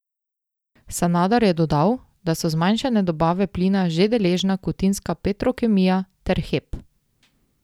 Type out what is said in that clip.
Sanader je dodal, da so zmanjšane dobave plina že deležna kutinska Petrokemija, ter Hep.